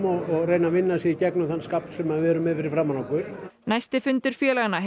og reyna að vinna sig í gegnum þann skafl sem við erum með fyrri framan okkur næsti fundur félaganna